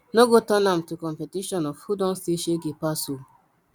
no go turn am to competition of who don see shege pass o